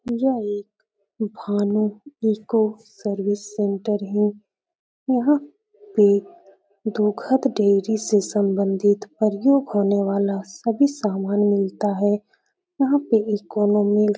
यह एक Bhanu eco service centre है। यहाँ पे दुगध डेरी से सबंधित परयोग होने वाला सभी सामान मिलता है। यहाँ पे --